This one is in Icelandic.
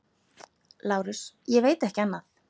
LÁRUS: Ég veit ekki annað.